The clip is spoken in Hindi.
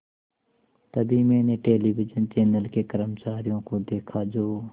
तभी मैंने टेलिविज़न चैनल के कर्मचारियों को देखा जो